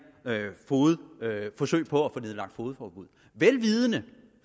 forsøg på at få nedlagt fogedforbud vel vidende